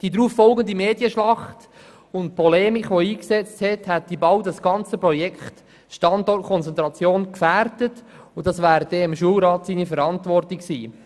Die darauffolgende Medienschlacht und die Polemik, die einsetzte, hätten fast das ganze Projekt «Standortkonzentration» gefährdet, und dafür wäre der Schulrat verantwortlich gewesen.